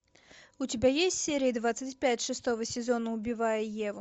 у тебя есть серия двадцать пять шестого сезона убивая еву